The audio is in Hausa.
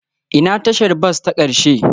Ina tashar bas ta ƙarshe?